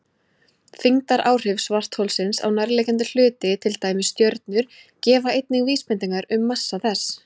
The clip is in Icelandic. Þyngdaráhrif svartholsins á nærliggjandi hluti, til dæmis stjörnur, gefa einnig vísbendingar um massa þess.